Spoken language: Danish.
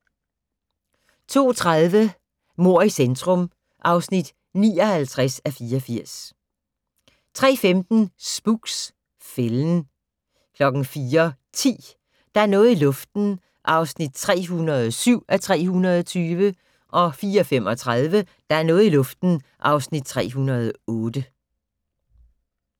02:30: Mord i centrum (59:84) 03:15: Spooks: Fælden 04:10: Der er noget i luften (307:320) 04:35: Der er noget i luften (308:320)